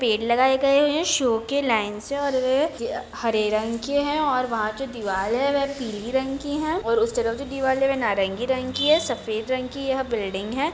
पेड़ लगाए गये है सो के लाइन से हरे रंग के है और वहाँ जो दीवाल है वो पीले रंग की है और उस तरफ जो दीवारे है नारंगी रंग की है सफ़ेद रंग की यह बिल्डिंग है।